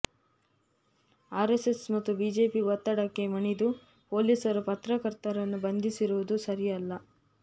RSS ಮತ್ತು BJP ಒತ್ತಡಕ್ಕೆ ಮಣಿದು ಪೊಲೀಸರು ಪತ್ರಕರ್ತರನ್ನು ಬಂಧಿಸಿರುವುದು ಸರಿಯಲ್ಲ